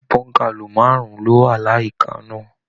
Bọ́ngálò márùn ló wá l'àyíká náà.